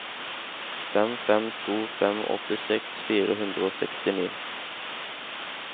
fem fem to fem åttiseks fire hundre og sekstini